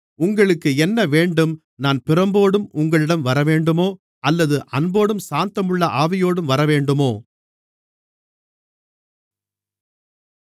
உங்களுக்கு என்ன வேண்டும் நான் பிரம்போடு உங்களிடம் வரவேண்டுமோ அல்லது அன்போடும் சாந்தமுள்ள ஆவியோடும் வரவேண்டுமோ